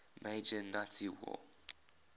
major nazi war